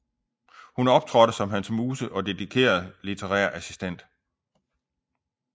Hun optrådte som hans muse og dedikeret litterær assistent